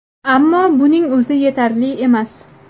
Ammo buning o‘zi yetarli emas.